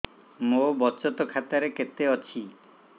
ମୋ ବଚତ ଖାତା ରେ କେତେ ଅଛି